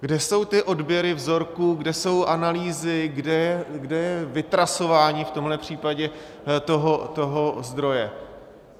Kde jsou ty odběry vzorků, kde jsou analýzy, kde je vytrasování v tomhle případě toho zdroje?